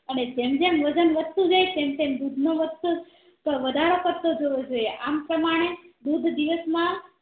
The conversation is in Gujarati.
અને જેમ જેમ વજન વધતું જાય તેમ તેમ દૂધનો વાતતો વધારો કર તો જવો જોઈએ આમ પ્રમાણ દિવસ માં